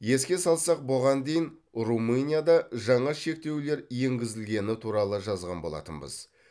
еске салсақ бұған дейін румынияда жаңа шектеулер енгізілгені туралы жазған болатынбыз